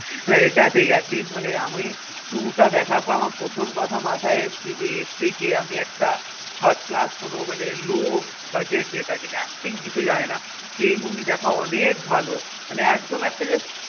না এটা ঠিক atleast মানে আমি two টা দেখার পর আমার প্রথম কথা মাথায় এসেছে যে এর থেকে আমি একটা thirdclass কোনো মানে low budget যেটা কিনা acting কিছু জানেনা সেই movie দেখা অনেক ভালো মানে একদম একটা just